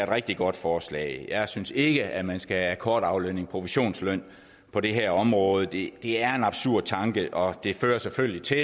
rigtig godt forslag jeg synes ikke at man skal have akkordaflønning og provisionsløn på det her område det er en absurd tanke og det fører selvfølgelig til